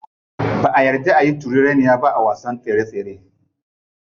Ba'a yarda ayi turereniya ba a wasan tsere tsere.